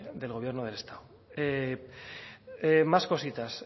del gobierno del estado más cositas